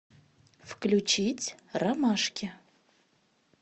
включить ромашки